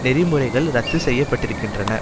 நெறிமுறைகள் இரத்து செய்ய பட்டிருக்கின்றன